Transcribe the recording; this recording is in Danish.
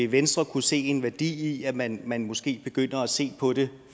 venstre kunne se en værdi i at man man måske begynder at se på det